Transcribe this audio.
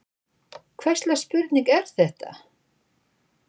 Hvers slags spurning er þetta!